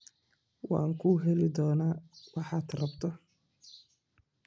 Waan ku heli doonaa waxaad rabto.